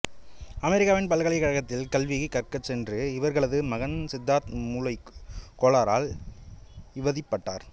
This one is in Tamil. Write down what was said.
அமெரிக்காவின் பல்கலைக்கழகத்திற்கு கல்வி கற்கச் சென்ற இவர்களது மகன் சித்தார்த் மூளைக் கோளாறால் இவதிப்பட்டார்